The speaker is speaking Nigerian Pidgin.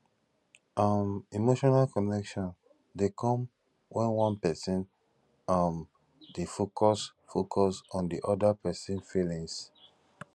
um emotional connection de come when one person um de focus focus on di other persin feelings